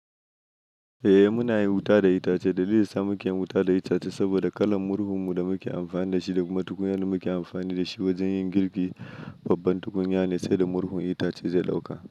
Eh muna yin wuta da itace. Dalilin sa muke yin wuta da itace saboda kalan murhun mu da muke amfani da shi da kuma tukunya da muke amfani da shi wajen yin girki, babban tukunya ne sai da murhun itace zai dauka.